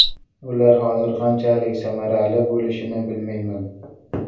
Ular hozir qanchalik samarali bo‘lishini bilmayman.